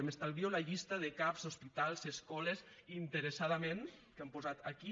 m’estalvio la llista de cap hospitals escoles que interessadament han posat aquí